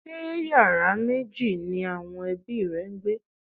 Ṣé yàrá méjì ni àwọn ẹbí rẹ ń gbé?